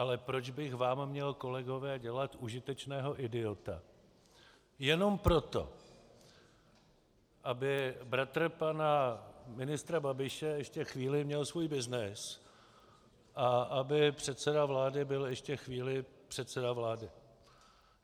Ale proč bych vám měl, kolegové, dělat užitečného idiota jenom proto, aby bratr pana ministra Babiše ještě chvíli měl svůj byznys a aby předseda vlády byl ještě chvíli předseda vlády?